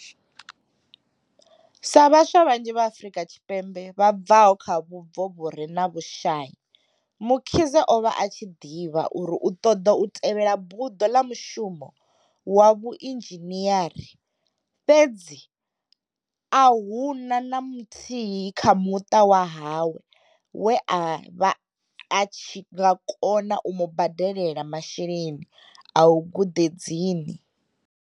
Sa vhaswa vhanzhi vha Afrika Tshipembe vha bvaho kha vhubvo vhu re na vhushai, Mkhize o vha a tshi ḓivha uri u ṱoḓa u tevhela buḓo ḽa mushumo wa vhuinzhiniari, fhedzi a hu na na muthihi kha muṱa wa hawe we a vha tshi nga kona u mu badelela masheleni a guḓedzini.